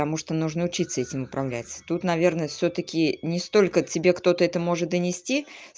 потому что нужно учиться этим управлять тут наверное всё-таки не столько тебе кто-то это может донести